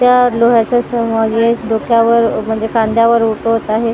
त्या लोह्याच्या डोक्यावर म्हणजे खांद्यावर उटवत आहे.